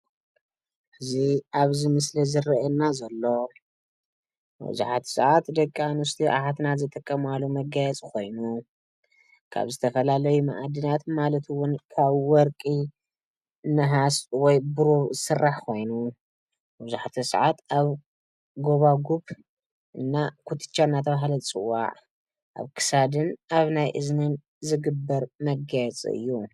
እዚ ኣብዚ ምስሊ ዝረአየና ዘሎ መብዛሕቲኡ ሰዓት ደቂ ኣንስትዮ ኣሓትና ዝጥቀማሉ መጋየፂ ኮይኑ ካብ ዝተፈላለዩ መኣድናት ማለት እዉን ካብ ወርቂ ፣ነሃስ ወይ ብሩር ዝስራሕ ኮይኑ መብዛሕቲኡ ሰዓት ኣብ ጎባጉብ እና ኩትቻ እናተብሃለ ዝፅዋዕ ኣብ ክሳድን ኣብ ናይ እዝንን ዝግበር መጋየፂ እዩ።